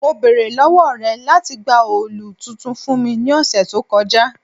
Mo beere lọwọ rẹ lati gba òòlù tuntun fun mi ni ọsẹ to kọja